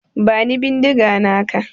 Bani bindiga naka.